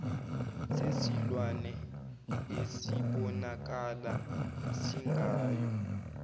sesilwane esibonakala singayo